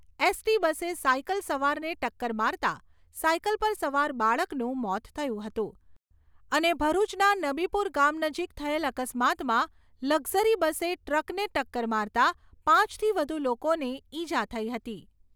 ST બસે cycle સવારને ટક્કર મારતાં, સાયકલ પર સવાર બાળકનું મોત થયું હતું અને ભરૂચના નબીપુર ગામ નજીક થયેલ અકસ્માતમાં લકઝરી બસે ટ્રકને કકર મારતાં પાંચથી વધુ લોકોને ઇજા થઈ હતી.